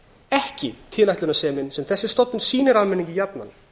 ekki tilætlunarsemin sem þessi stofnun sýnir almenningi jafnan